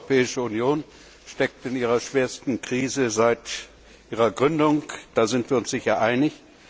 Die Europäische Union steckt in ihrer schwersten Krise seit ihrer Gründung. Da sind wir uns sicher einig.